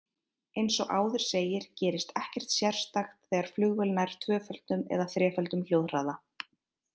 Eins og áður segir gerist ekkert sérstakt þegar flugvél nær tvöföldum eða þreföldum hljóðhraða.